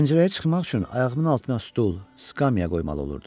Pəncərəyə çıxmaq üçün ayağımın altına stul, skamya qoymalı olurdum.